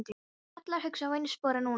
Allar hugsanir á einu spori núna.